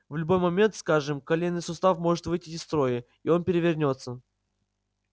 в любой момент скажем коленный сустав может выйти из строя и он перевернётся